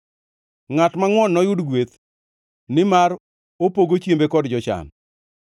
Ngʼat mangʼwon noyud gweth, nimar opogo chiembe kod jochan.